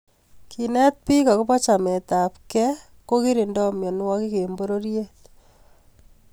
kenet bik akobo chametabgei ko keringtoi mianwek eng pororiet